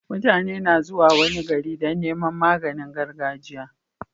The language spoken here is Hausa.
Mutane na zuwa wani gari Dan Neman maganin gargajiya